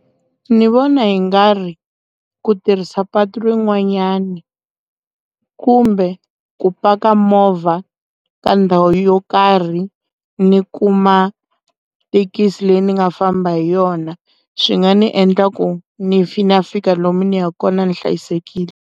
Ni vona hi nga ri ku tirhisa patu rin'wanyani kumbe ku paka movha ka ndhawu yo karhi ni kuma thekisi leyi ni nga famba hi yona swi nga ni endla ku ni na fika lomu ni ya kona ni hlayisekile.